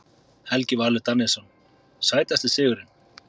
Helgi Valur Daníelsson Sætasti sigurinn?